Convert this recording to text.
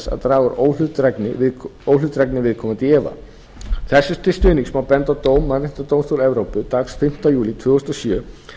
að draga óhlutdrægni viðkomandi í efa þessu til stuðnings má benda á dóm mannréttindadómstóls evrópu dagsett fimmti júlí tvö þúsund og sjö